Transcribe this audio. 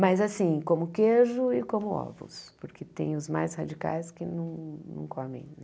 Mas assim, como queijo e como ovos, porque tem os mais radicais que não não comem, né?